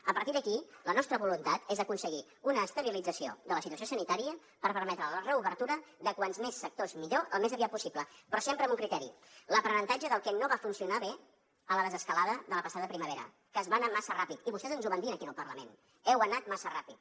a partir d’aquí la nostra voluntat és aconseguir una estabilització de la situació sanitària per permetre la reobertura de com més sectors millor al més aviat possible però sempre amb un criteri l’aprenentatge del que no va funcionar bé a la desescalada de la passada primavera que es va anar massa ràpid i vostès ens ho van dir aquí en el parlament heu anat massa ràpid